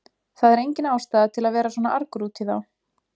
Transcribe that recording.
Það er engin ástæða til að vera svona argur út í þá.